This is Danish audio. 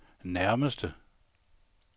nærmeste